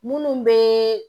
Munnu be